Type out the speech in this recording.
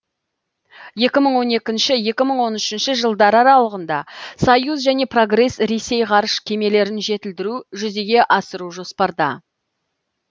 екі мың он екінші екі мың он үшінші жылдар аралығында союз және прогресс ресей ғарыш кемелерін жетілдіруді жүзеге асыру жоспарда